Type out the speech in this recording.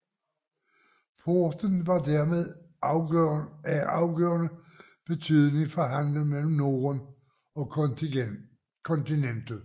Porten var dermed af afgørende betydning for handelen mellem Norden og kontinentet